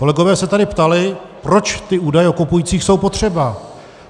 Kolegové se tady ptali, proč ty údaje o kupujících jsou potřeba.